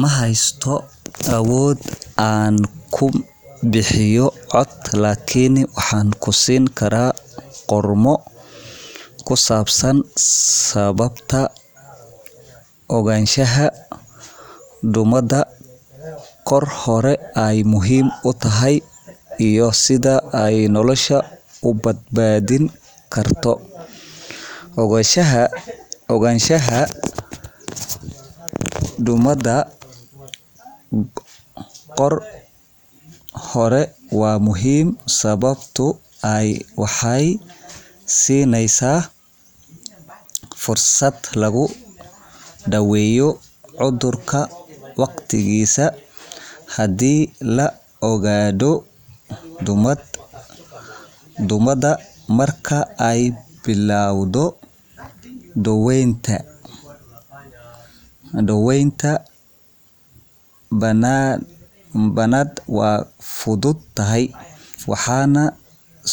Ma heysto awood aan ku bixiyo cod, lakin waxaan kusin karaa qormo ku saabsan sababta ogaanshaha duumada goor hore ay muhiim u tahay iyo sida ay nolosha u badbaadin karto. Ogaanshaha duumada goor hore waa muhiim, sababtoo ah waxay siinaysaa fursad lagu daweeyo cudurka waqtigiisa haddii la ogaado. Duumada marka ay bilowdo, daweynta bilowga ah waa fududahay, waxaana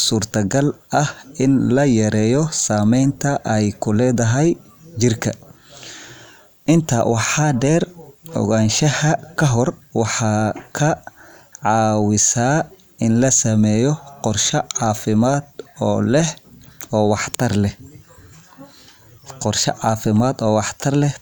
suurtagal ah in la yareeyo saameynta ay ku leedahay jirka. Intaa waxaa dheer, ogaanshaha hore waxay ka caawisaa in la sameeyo qorshe caafimaad oo wax tar leh.